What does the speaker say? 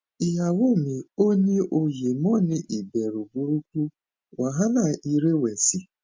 iyawo mi o ni oye mo ni iberu buruku wahala irewesi